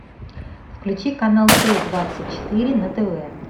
включи канал т двадцать четыре на тв